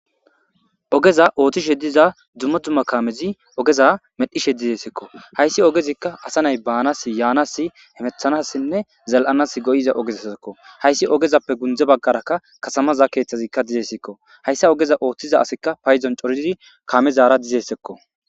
ogeza ooththishe diza dzummo dzumma kaamezi ogeza medhishe dizessekko hayssi ogezikka asa nay baanas yaanasi hemethanassinne zal7anas goyiza ogezasekko hayssi ogezappe gundze baggarakka kasamaza keeththazikka dizessekko hayssa ogeza ooththiza asikka payzon coridi kaamezara dizessekko